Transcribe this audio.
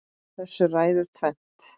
Þessu ræður tvennt